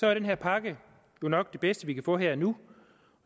er den her pakke jo nok det bedste vi kan få her og nu